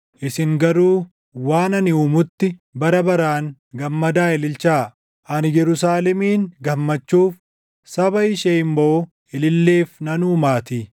Isin garuu waan ani uumutti, bara baraan gammadaa ililchaa; ani Yerusaalemin gammachuuf, saba ishee immoo ililleef nan uumaatii.